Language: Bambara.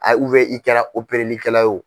A i kɛra opereli kɛla o.